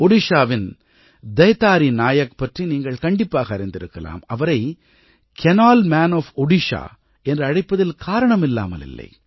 ஒடிஷாவின் தைதாரி நாயக் பற்றி நீங்கள் கண்டிப்பாக அறிந்திருக்கலாம் அவரை கேனல் மான் ஒஃப் ஒடிஷா என்று அழைப்பதில் காரணமில்லாமல் இல்லை